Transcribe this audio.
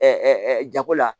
jago la